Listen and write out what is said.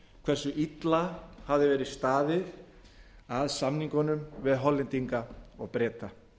hversu illa hafði verið staðið að samningunum við hollendinga og breta